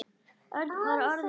Örn var orðinn fölur.